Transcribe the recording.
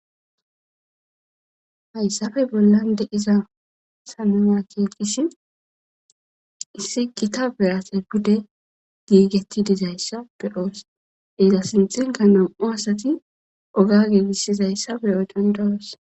hayssafe bollan deiza sananya keekish issi qita bease pudde giigetti dizayssa beyoos iza sinxenka nom7o asati oga giigishsizayssa be odon dawoos